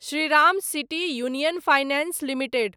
Shriram city union finance limited